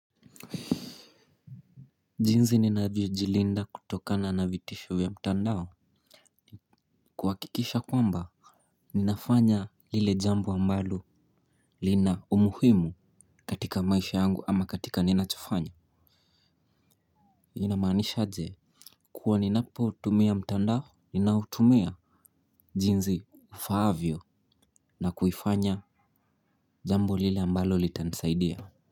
Jinzi ninavyo jilinda kutokana na vitisho ya mtandao. Kuhakikisha kwamba ninafanya lile jambo ambalo lina umuhimu katika maisha yangu ama katika ninachofanya. Inamanisha aje? Kuwa ninapoutumia mtandao Ninaoutumia Jinsi ifaavyo na kuifanya jambo lile ambalo litanisaidia.